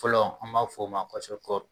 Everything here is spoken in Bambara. Fɔlɔ an b'a f'o ma